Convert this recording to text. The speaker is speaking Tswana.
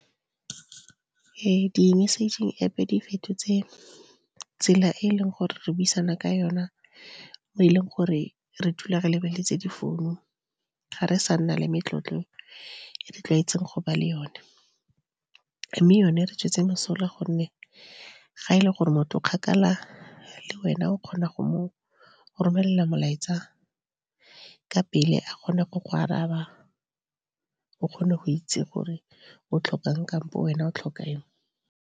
Di-massaging App-e di fetotse tsela e e leng gore re buisana ka yona mo e leng gore re dula re lebeletse di founu. Ga re sa nna le metlotlo e re tlwaetseng go ba le yone, mme yone e re tswetse mosola gonne ga e le gore motho o kgakala le wena o kgona go mo romelela molaetsa ka pele a kgona go go araba. O kgone go itse gore o tlhokang kampo wena o tlhoka eng.